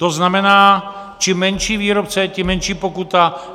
To znamená, čím menší výrobce, tím menší pokuta.